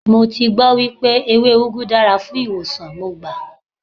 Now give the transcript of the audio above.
Mo ti gbọ́ wípé ewé úgú dára fún ìwòsàn, mo gbà.